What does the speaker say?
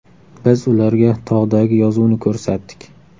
Biz ularga tog‘dagi yozuvni ko‘rsatdik.